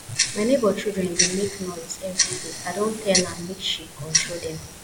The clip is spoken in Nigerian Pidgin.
my nebor children dey make noise everyday i don tell am make she control dem